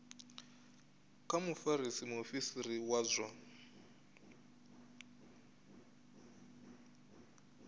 kha mufarisa muofisiri wa zwa